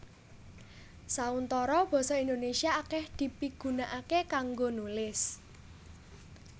Sauntara basa Indonésia akèh dipigunakaké kanggo nulis